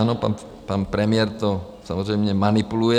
Ano, pan premiér to samozřejmě manipuluje.